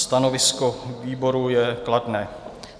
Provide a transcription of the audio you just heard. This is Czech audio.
Stanovisko výboru je kladné.